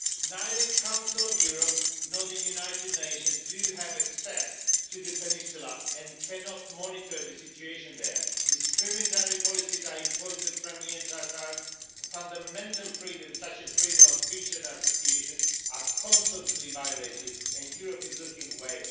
Neither the Council of Europe nor the United Nations have access to the peninsula and they cannot monitor the situation there. Discriminatory policies are imposed on Crimean Tatars, fundamental freedoms, such as freedom of speech and association, are constantly violated, and Europe is looking away.